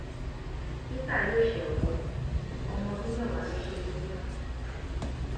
peter yóò ṣẹwọn o ọmọ ọdún mẹwàá ló ṣe kinní fún